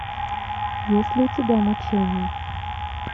есть ли у тебя мучение